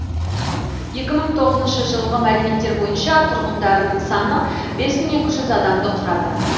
екі мың тоғызыншы жылғы мәліметтер бойынша тұрғындарының саны бес мың екі жүз он адамды құрады